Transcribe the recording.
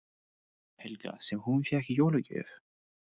Helga: Sem hún fékk í jólagjöf?